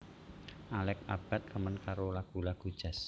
Alex Abbad remen karo lagu lagu jazz